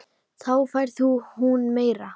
Þá fær hún meira.